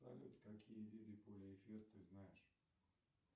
салют какие виды полиэфир ты знаешь